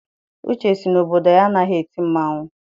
Uche sị na obodo ya anaghị eti mmanwụ.